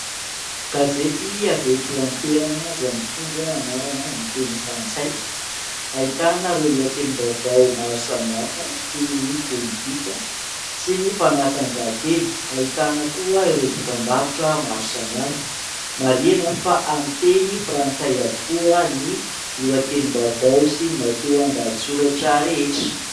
Gazety avy eto an-toerana izay mitondra anarana amin'ny teny frantsay. Ahitana ireo lohatenim-baovao maro samihafa toy ny pôlitika sy ny fanatanjahantena. Ahitana koa ireo dokam-barotra maro amihafa. Marihina fa amin'ny teny frantsay avokoa ny lohatenim-baovao sy ny matoan-dahatsoratra rehetra.